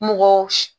Mɔgɔw